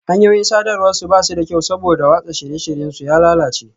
Hanyoyin sadarwar su ba su da kyau saboda watsa shirye-shiryen su ya lalace